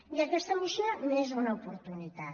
i aquesta moció n’és una oportunitat